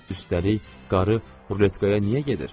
Üstəlik, qarı ruletkaya niyə gedir?